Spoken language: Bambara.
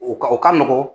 O ka o ka nɔgɔn